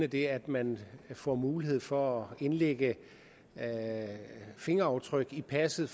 det at man får mulighed for at indlægge fingeraftryk i passet